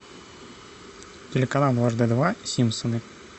телеканал дважды два симпсоны